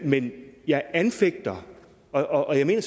men jeg anfægter og jeg mener